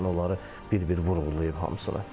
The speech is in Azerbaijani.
Yəni onları bir-bir vurğulayıb hamısını.